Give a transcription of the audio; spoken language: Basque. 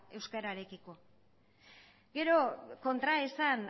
euskararekiko gero kontraesan